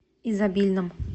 изобильном